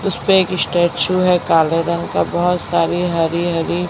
उसपे एक स्टैचू है काले रंग का बहोत सारी हरी हरी--